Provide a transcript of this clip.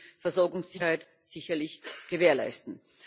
Das wird die Versorgungssicherheit sicherlich gewährleisten.